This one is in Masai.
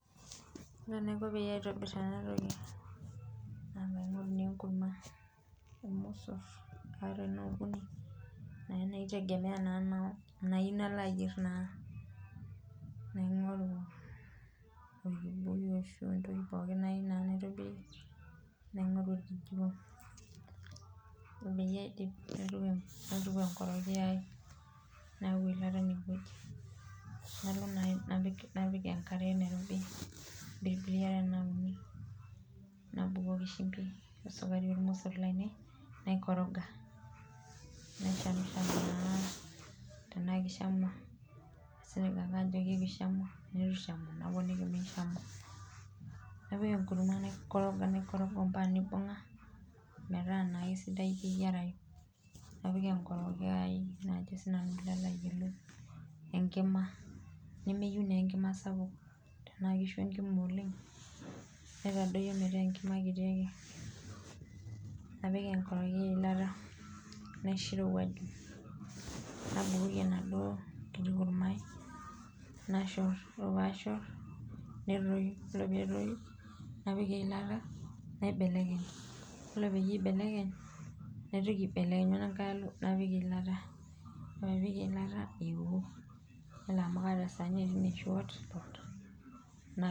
Yiolo naa enaiko pee aitobir ena toki naa pee aingoru naa enkurma ,iromosor ata tenaa ukoni naaji oitegemea enaa naayieu nalo ayier naa ,naingoru orkibuyu orashu entoki na nayieu naitobirie ,naingoru okijiko ore peyie aidip naituku erokiyo ai ,nayau eilata eneweji ,napik enkare ,nabukoki shimbi ,we sukari ormosor lainie, naikoroga naishamsham naa tenaa kishamua aisilig naake ajo keishamu ,ore pee eitu eishamu naponiki ,napik enkurma naikoroga mpaka neibungaa metaa naa keisidai keyierayu ,napik enkorokiyo aii enkima nameyieu naa enkima sapuk tenaa kishu enkima oleng naitadoyio metaa enkima kiti ake, napik enkorokiyo eilata, naisho eirowaju nabukoki enaduo kiti kurma ai ,nashor ore pee ashor petoyu ore pee etoyu napik eilata naibelekeny ,yiolo pee aibelekeny naitoki aibelekenyu inankae alo napik eilata or epee ipik eilata eoo yiolo amu kaata esaani ai napik.